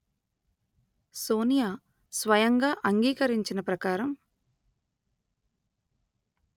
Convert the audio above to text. సోనియా స్వయంగా అంగీకరించిన ప్రకారం